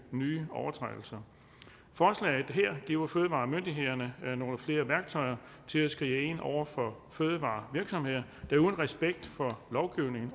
nye overtrædelser forslaget her giver fødevaremyndighederne nogle flere værktøjer til at skride ind over for fødevarevirksomheder der uden respekt for lovgivningen